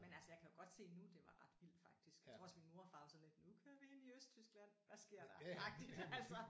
Men altså jeg kan jo godt se nu det var ret vildt faktisk. Jeg tror også min mor og far var sådan lidt nu kører vi ind i Østtyskland hvad sker der agtigt altså